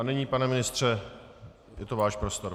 A nyní, pane ministře, je to váš prostor.